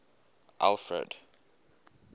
alfred